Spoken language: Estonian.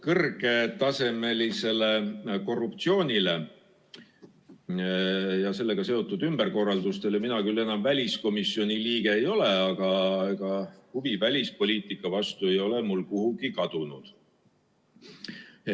Kõrgetasemelise korruptsiooni ja sellega seotud ümberkorralduste tõttu mina küll enam väliskomisjoni liige ei ole, aga huvi välispoliitika vastu ei ole mul kuhugi kadunud.